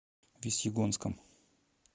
весьегонском